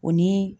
O ni